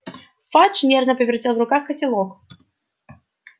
фадж нервно повертел в руках котелок